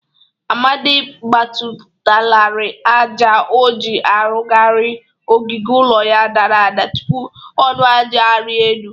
Amadị agbatalari aja o ji arụgarị ogige ụlọ ya dara ada tupu ọnụ aja arịa elu.